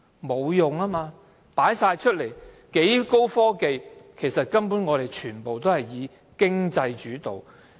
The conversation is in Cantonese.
沒有用，很高的科技全部展覽出來，但其實全部以經濟主導。